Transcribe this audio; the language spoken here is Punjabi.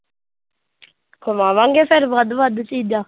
ਖਵਾਵਾਂਗੇ ਫਿਰ ਵੱਧ ਵੱਧ ਚੀਜ਼ਾਂ।